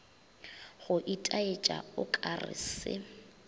go itaetša o kare se